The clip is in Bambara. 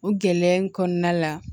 O gɛlɛya in kɔnɔna la